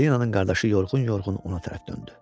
Silenanın qardaşı yorğun-yorğun ona tərəf döndü.